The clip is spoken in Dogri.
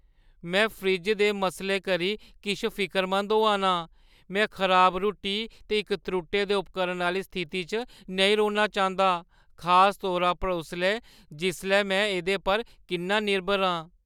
में फ्रिज्जै दे मसलें करी किश फिकरमंद होआ नां; में खराब रुट्टी ते इक त्रुट्टे दे उपकरण आह्‌ली स्थिति च नेईं रौह्‌ना चांह्‌दा, खास तौरा पर उसलै जिसलै में एह्दे पर किन्ना निर्भर आं।